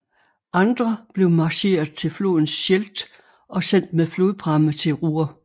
Andre blev marcheret til floden Scheldt og sendt med flodpramme til Ruhr